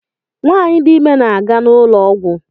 Nwanyị dị ime na-aga n'ụlọọgwọ